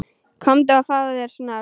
Komdu og fáðu þér snarl.